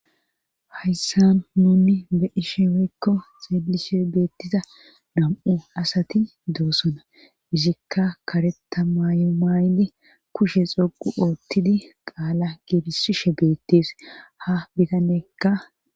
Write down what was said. Hayssa nunni be ishemeekko xeelishe beettiza dam'u asati doosona izikka kareta maayu maaydi kushe xoqu oottidi qaala geelisishe beettis ha bitanekka